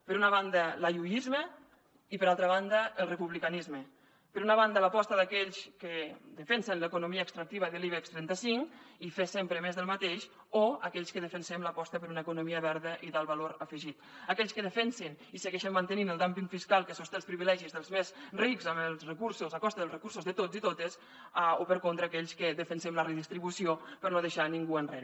per una banda l’ayusisme i per altra banda el republicanisme per una banda l’aposta d’aquells que defensen l’economia extractiva de l’ibex trenta cinc i fer sempre més del mateix o aquells que defensem l’aposta per una economia verda i d’alt valor afegit aquells que defensen i segueixen mantenint el dumping fiscal que sosté els privilegis dels més rics a costa dels recursos de tots i totes o per contra aquells que defensem la redistribució per no deixar ningú enrere